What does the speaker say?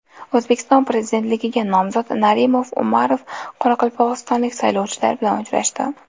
O‘zbekiston Prezidentligiga nomzod Narimon Umarov qoraqalpog‘istonlik saylovchilar bilan uchrashdi.